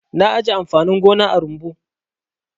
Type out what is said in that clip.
Na ajiye amfanin gona a rumbu.